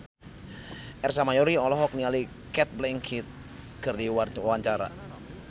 Ersa Mayori olohok ningali Cate Blanchett keur diwawancara